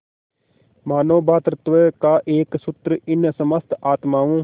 मानों भ्रातृत्व का एक सूत्र इन समस्त आत्माओं